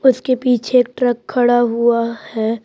उसके पीछे एक ट्रक खड़ा हुआ है।